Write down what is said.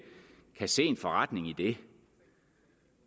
kan se en forretning i det